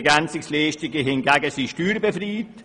Ergänzungsleistungen hingegen sind steuerbefreit.